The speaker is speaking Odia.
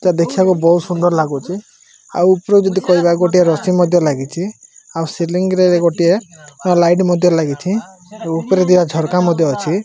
ଏଟା ଦେଖିବାକୁ ବହୁତ ସୁନ୍ଦର ଲାଗୁଚି। ଆଉ ଉପରେ ଯଦି କହିବ ଗୋଟେ ରସି ମଧ୍ୟ୍ୟ ଲାଗିଚି ଆଉ ସିଲିଙ୍ଗି ରେ ଗୋଟେ ଲାଇଟ ମଧ୍ୟ୍ୟ ଲାଗିଚି। ଆଉ ଉପରେ ଥିବା ଝରକା ମଧ୍ୟ୍ୟ ଅଛି।